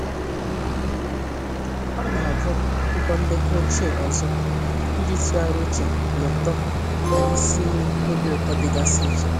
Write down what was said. Ọ na-agụ akwụkwọ ndekọ ochie ọzọ iji tụgharịa uche na uto na isi iyi obi ụtọ dịgasị iche.